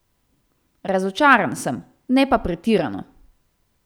Razočaran sem, ne pa pretirano.